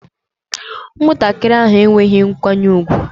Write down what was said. Ụmụntakịrị ahụ enweghị nkwanye ùgwù